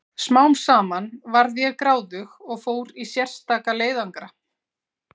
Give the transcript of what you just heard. Smám saman varð ég gráðug og fór í sérstaka leiðangra.